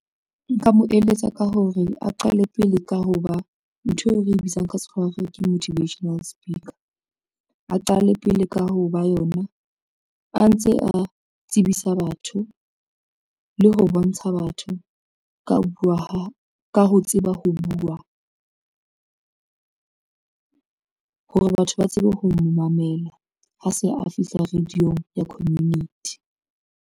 Nka mo eletsa ka hore a qale pele ka ho ba ntho eo re bitsang ka tshwarwa ke motivational speaker, a qale pele ka ho ba yona a ntse a tsebisa batho le ho bontsha batho ka buwa ha ka ho tseba ho buwa hore batho ba tsebe ho mo mamela ha se a fihla radio-ng ya community.